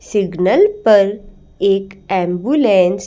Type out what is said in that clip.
signal पर एक ambulance --